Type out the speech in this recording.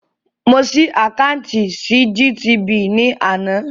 Mo ṣí àkáùntì sí GTB ní àná